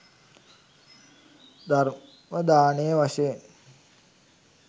ධර්ම දානය වශයෙන්.